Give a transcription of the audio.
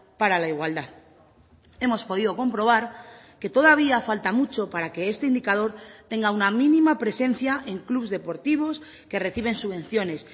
para la igualdad hemos podido comprobar que todavía falta mucho para que este indicador tenga una mínima presencia en clubs deportivos que reciben subvenciones